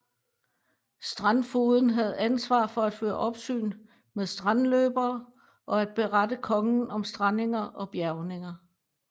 Strandfogeden havde ansvar for at føre opsyn med strandløbere og at berette kongen om strandinger og bjærgninger